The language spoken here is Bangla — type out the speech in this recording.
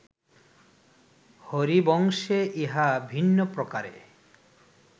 হরিবংশে ইহা ভিন্নপ্রকারে